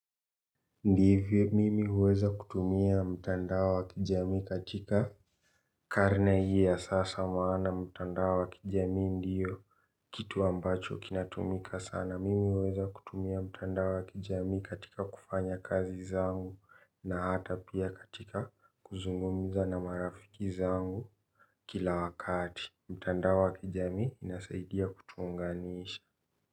Ndivyo mimi huweza kutumia mtandao wa kijamii katika karne hii ya sasa maana mtandao wa kijami ndiyo kitu ambacho kinatumika sana mimi huweza kutumia mtandao wa kijami katika kufanya kazi zangu na hata pia katika kuzungumiza na marafiki zangu kila wakati mtandao wa kijami inasaidia kutuunganisha.